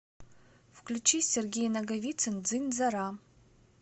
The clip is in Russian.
включи сергей наговицын дзынь дзара